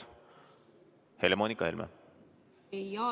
Helle-Moonika Helme!